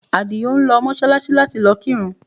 Àdìó ń lọ Mọ́ṣáláṣí láti lọ kírun